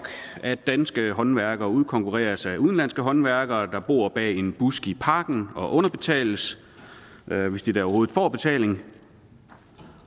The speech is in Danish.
at danske håndværkere udkonkurreres af udenlandske håndværkere der bor bag en busk i parken og underbetales hvis de da overhovedet får betaling